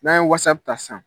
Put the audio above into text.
N'an ye Whatsapp ta san